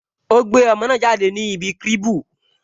O gbé ọmọ náà jáde kúrò ní ibi cribu